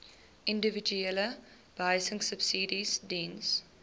individuele behuisingsubsidies diens